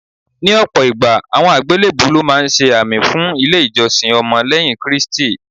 Ní ọ̀pọ̀ ìgbà, àmì àgbélébùú lọ́ máa ń ṣe àmì fún ilé ìjọsìn ọmọ lẹ́yìn Kristi.